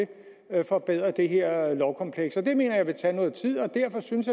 forbedret det her lovkompleks til det mener jeg vil tage noget tid og derfor synes